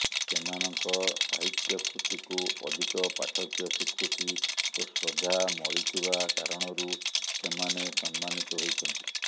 ସେମାନଙ୍କ ସାହିତ୍ୟକୃତିକୁ ଅଧିକ ପାଠକୀୟ ସ୍ୱୀକୃତି ଓ ଶ୍ରଦ୍ଧା ମଳିଥିବା କାରଣରୁ ସେମାନେ ସମ୍ମାନିତ ହୋଇଛନ୍ତି